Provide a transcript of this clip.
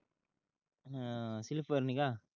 अं slipper नि का